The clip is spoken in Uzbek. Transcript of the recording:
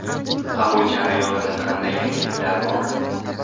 Qabul jarayonida qanday yangiliklar bor?